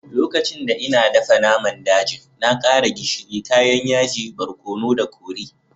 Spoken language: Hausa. Lokacin da n'na dafan naman dajin, na kara gishiri, kayan yaji, barkonu da kori.